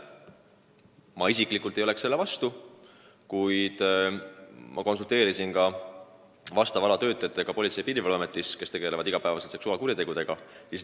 Ma isiklikult ei oleks selle vastu, kuid ma konsulteerisin ka selle ala töötajatega Politsei- ja Piirivalveametist, kes tegelevad iga päev seksuaalkuritegudega.